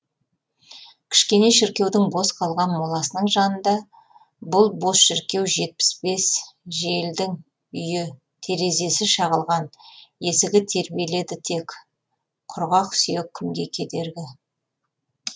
кішкене шіркеудің бос қалған моласының жанында бұл бос шіркеу жетпіс бес желдің үйі терезесі шағылған есігі тербеледі тек құрғақ сүйек кімге кедергі